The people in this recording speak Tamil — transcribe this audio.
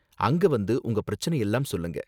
அங்க வந்து உங்க பிரச்சனையெல்லாம் சொல்லுங்க